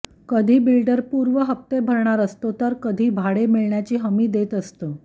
कधी बिल्डर पूर्व हप्ते भरणार असतो तर कधी भाडे मिळण्याची हमी देत असतो